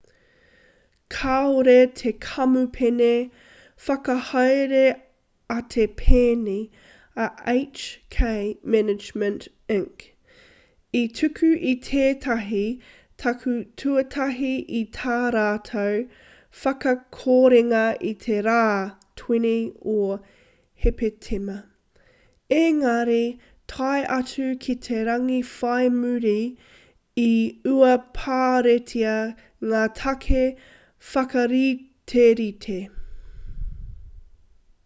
kāore te kamupene whakahaere a te pēni a hk management inc i tuku i tētahi take tuatahi i tā rātou whakakorenga i te rā 20 o hepetema engari tae atu ki te rangi whai muri i uaparetia ngā take whakariterite